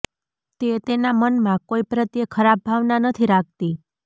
તે તેના મનમાં કોઈ પ્રત્યે ખરાબ ભાવના નથી રાખતી